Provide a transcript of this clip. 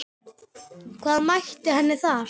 Hvað mætti henni þar?